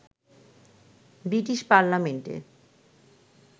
British পার্লামেন্টে